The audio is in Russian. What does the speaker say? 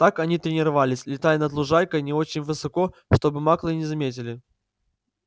так они тренировались летая над лужайкой не очень высоко чтобы маглы не заметили